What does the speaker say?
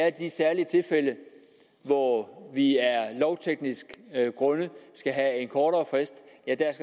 i de særlige tilfælde hvor vi af lovtekniske grunde skal have en kortere frist